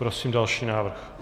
Prosím další návrh.